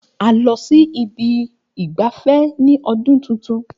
A lọ sí ibi ìgbafẹ́ ní ọdún tuntun.